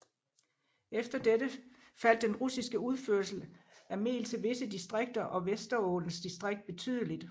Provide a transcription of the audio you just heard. Efter dette faldt den russiske udførsel af mel til disse distrikter og Vesterålens distrikt betydeligt